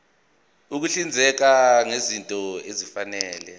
ukuhlinzeka ngezinto ezifanele